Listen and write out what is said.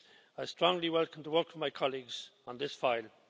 I strongly welcome the work of my colleagues on this file.